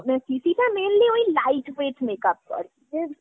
মানে CCটা mainly ওই light বেইত makeup ।